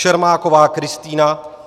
Čermáková Kristýna